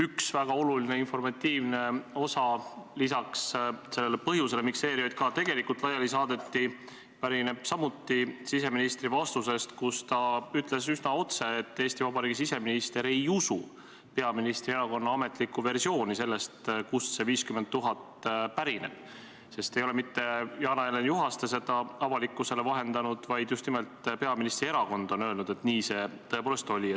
Üks väga oluline informatiivne osa, lisaks sellele põhjusele, miks ERJK tegelikult laiali saadeti, pärineb samuti siseministri vastusest, kus ta ütles üsna otse, et Eesti Vabariigi siseminister ei usu peaministri erakonna ametlikku versiooni sellest, kust see 50 000 pärineb, sest ei ole mitte Jana-Helen Juhaste seda avalikkusele vahendanud, vaid just nimelt peaministri erakond on öelnud, et nii see tõepoolest oli.